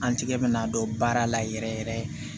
An tigɛ bɛna don baara la yɛrɛ yɛrɛ yɛrɛ